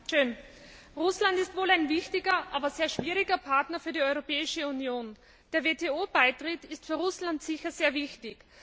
Frau Präsidentin! Russland ist wohl ein wichtiger, aber sehr schwieriger Partner für die Europäische Union. Der WTO Beitritt ist für Russland sicher sehr wichtig.